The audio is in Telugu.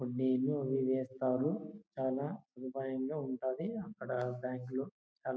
వేస్తారు. చానా సదుపాయంగా ఉంటాది అక్కడ బ్యాంకు లో